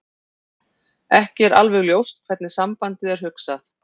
Ekki er alveg ljóst hvernig sambandið er hugsað.